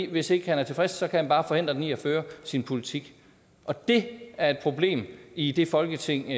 hvis ikke han er tilfreds kan han bare forhindre den i at føre sin politik og det er et problem i det folketing